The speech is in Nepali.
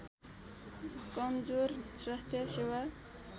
कमजोर स्वास्थ्य सेवा